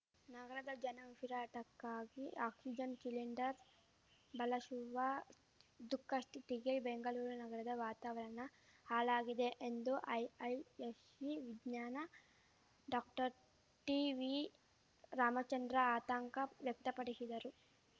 ನಗರದ ಜನ ಉಸಿರಾಟಕ್ಕಾಗಿ oxygen cylinder ಬಳಶುವ ದುಃಖಸ್ಥಿತಿಗೆ Bengaluru ನಗರದ ವಾತಾವರಣ ಹಾಳಾಗಿದೆ ಎಂದು ಐಐಎಸ್ಸಿ ವಿಜ್ಞಾನಿ ಡಾಕ್ಟರ್ಟಿವಿರಾಮಚಂದ್ರ ಆತಂಕ ವ್ಯಕ್ತಪಡಿಶಿದರು